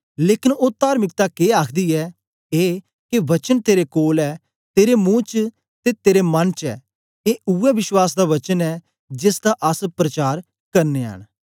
लेकन ओ तार्मिकता के आखदी ऐ ए के वचन तेरे कोल ऐ तेरे मुंह च ते तेरे मन च ऐ ए उवै विश्वास दा वचन ऐ जेसदा अस प्रचार करनयां न